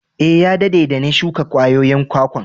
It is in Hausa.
Eh, ya dadde de na shuka kwayoyin kwakwan.